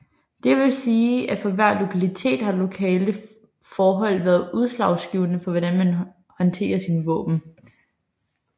Det vil sige at for hver lokalitet har lokale forhold været udslagsgivende for hvordan man håndterer sine våben